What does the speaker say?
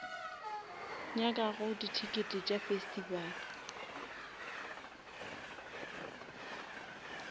nyakago di tickets tša festival